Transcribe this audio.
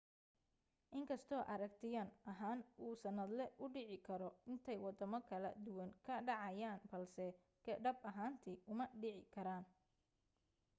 in kastoo aragtiyan ahaan uu sannadle u dhici karo intay waddamo kala duwan ka dhacayaan balse dhab ahaantii uma dhici karaan